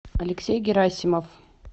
алексей герасимов